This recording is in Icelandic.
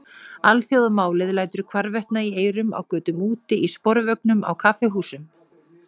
Alþjóðamálið lætur hvarvetna í eyrum, á götum úti, í sporvögnum, á kaffihúsum.